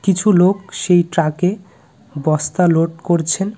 কিছু লোক সেই ট্রাকে বস্তা লোড করছেন.